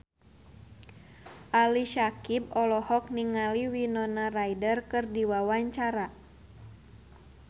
Ali Syakieb olohok ningali Winona Ryder keur diwawancara